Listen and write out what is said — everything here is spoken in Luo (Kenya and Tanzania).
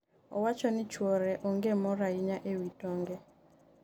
owacho ni chuore onge mor ahinya e wi tonge